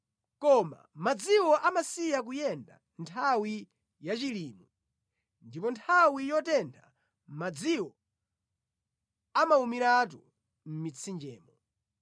koma madziwo amasiya kuyenda nthawi yachilimwe, ndipo nthawi yotentha madziwo amawumiratu mʼmitsinjemo.